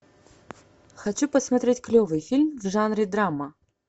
хочу посмотреть клевый фильм в жанре драма